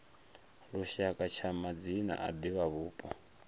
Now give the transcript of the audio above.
lushaka tsha madzina a divhavhupo